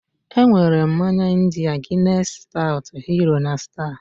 E nwere mmanya ndịaː Guinness Stout, Hero, na Star.